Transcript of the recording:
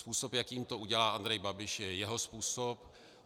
Způsob, jakým to udělá Andrej Babiš, je jeho způsob.